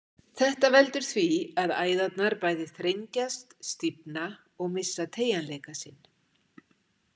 Þetta veldur því að æðarnar bæði þrengjast, stífna og missa teygjanleika sinn.